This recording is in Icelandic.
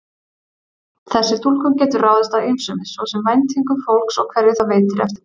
Þessi túlkun getur ráðist af ýmsu, svo sem væntingum fólks og hverju það veitir eftirtekt.